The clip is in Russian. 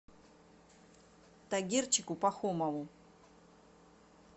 тагирчику пахомову